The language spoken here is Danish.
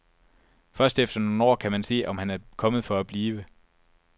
Først efter nogle år kan man se, om han er kommet for at blive.